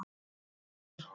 Takk amma mín.